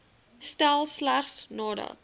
stel slegs nadat